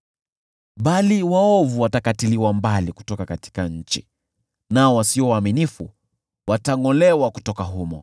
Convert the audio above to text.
Bali waovu watakatiliwa mbali kutoka nchi, nao wasio waaminifu watangʼolewa kutoka humo.